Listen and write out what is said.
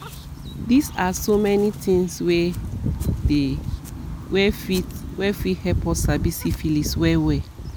these are so many thingswere dey wey fit wey fit help us sabi syphilis well well